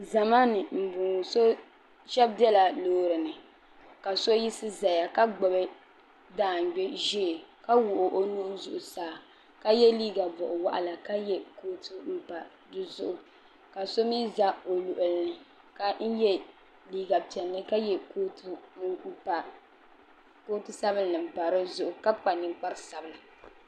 zama ni n bɔŋɔ shab biɛla loori ni ka so yisi ʒɛya ka gbubi daangbɛ ʒiɛ ka wuhi o nuhi zuɣusaa ka yɛ liiga boɣa waɣala ka yɛ kootu pa dizuɣu ka so mii ʒɛ o luɣuli ni ka yɛ liiga piɛlli ka yɛ kootu sabinli n pa dizuɣu ka kpa ninkpari sabinli